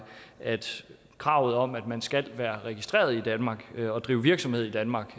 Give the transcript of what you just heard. at kravet om at man skal være registreret i danmark og drive virksomhed i danmark